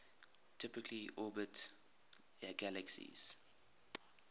typically orbit galaxies